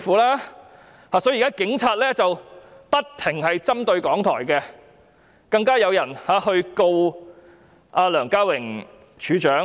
如是者，警察現時不斷針對港台，更有人控告梁家榮處長。